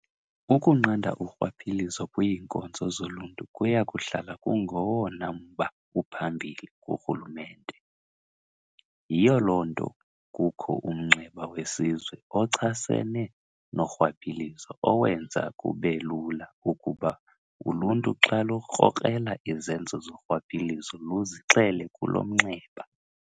Ukunqanda urhwaphilizo kwiinkonzo zoluntu kuyakuhlala kungowona mba uphambili kurhulumente, yiyo loo nto kukho uMnxeba weSizwe oChasene noRhwaphilizo owenza kubelula ukuba uluntu xa lukrokrela izenzo zorhwaphilizo luzixele kulo mnxeba.